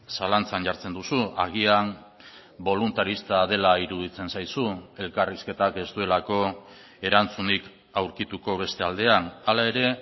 zalantzan jartzen duzu agian boluntarista dela iruditzen zaizu elkarrizketak ez duelako erantzunik aurkituko beste aldean hala ere